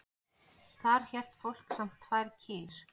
Þar hélt fólk samt tvær kýr.